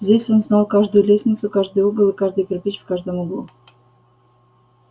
здесь он знал каждую лестницу каждый угол и каждый кирпич в каждом углу